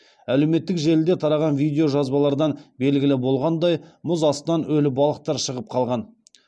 әлеуметтік желіде тараған видео жазбалардан белгілі болғандай мұз астынан өлі балықтар шығып қалған